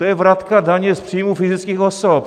To je vratka daně z příjmu fyzických osob.